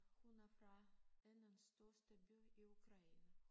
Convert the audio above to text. Hun er fra andenstørste by i Ukraine